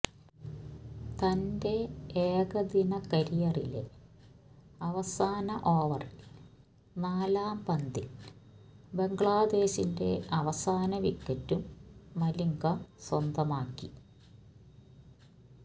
തന്റെ ഏകദിന കരിയറിയിലെ അവസാന ഓവറിൽ നാലാം പന്തിൽ ബംഗ്ലാദേശിന്റെ അവസാന വിക്കറ്റും മലിംഗ സ്വന്തമാക്കി